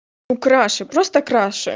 украшу просто краше